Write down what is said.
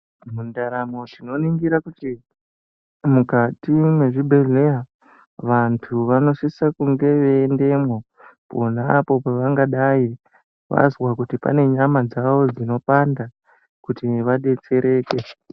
Mundaramo tinoningira kuti mukati mwezvibhedhlera vantu vanosisa kunge veiendemwo ponapo pavangadai vazwa kuti pane nyama dzavo dzinopanda kuti vadetsereke.